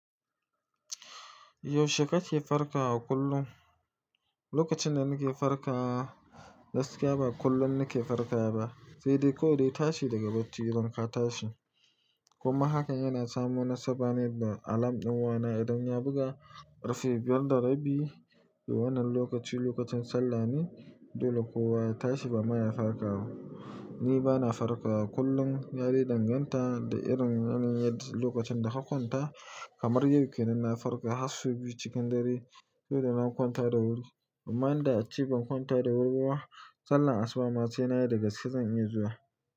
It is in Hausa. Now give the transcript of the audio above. Yaushe kake farkawa kullum? Lokacin da nake farkawa, gaskiya ba kullum nake farkawa ba. Sai dai ko dai tashi daga bacci idan ka tashi. Kuma hakan yana samun nasaba ne da alam din wana. Idan ya buga karfe biyar da rabi a wannan lokaci, lokacin sallah ne, dole kowa ya tashi ba ma ya farkawa. Ni bana farkawa kullum, ya dai danganta da irin yanayin lokacin da ka kwanta. Kamar yau kenan na farka har sau biyu cikin dare saboda na kwanta da wuri. Amma in da a ci ban kwanta da wuri ba, sallar asuba ma sai na da gaske ma zan iya zuwa.